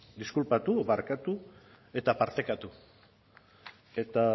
diskulpatu edo barkatu eta partekatu eta